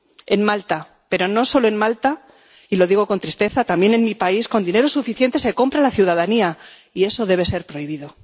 En Malta, pero no solo en Malta —y lo digo con tristeza—, también en mi país, con dinero suficiente se compra a la ciudadanía, y eso debe ser prohibido.